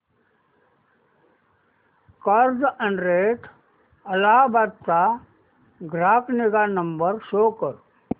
Carzonrent Ahmedabad चा ग्राहक निगा नंबर शो कर